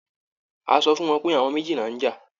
A sọ fún wọn pé àwọn méjèèjì ń jà.